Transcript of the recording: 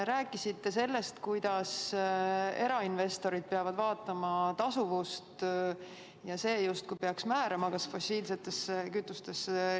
Rääkisite sellest, kuidas erainvestorid peavad vaatama tasuvust ja et see justkui peaks määrama, kas investeeritakse fossiilsetesse kütustesse.